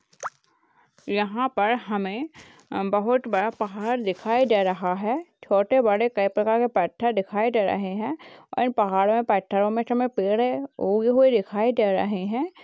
यहां पर हमें बहुत बड़ा पहाड़ दिखाई दे रहा है। छोटे बड़े कई प्रकार के पत्थर दिखाई दे रहे हैं और इन पहाड़ों में पत्थरों में पेड़ है वो भी हमें दिखाई दे रहे है।